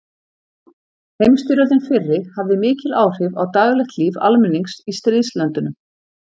Heimsstyrjöldin fyrri hafði mikil áhrif á daglegt líf almennings í stríðslöndunum.